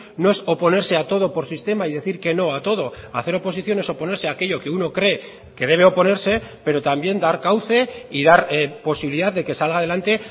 no es oponerse a todo por sistema y decir que no a todo hacer oposición es oponerse a aquello que uno cree que debe oponerse pero también dar cauce y dar posibilidad de que salga adelante